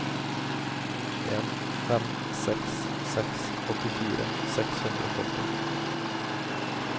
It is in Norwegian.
en fem seks seks åttifire seks hundre og førti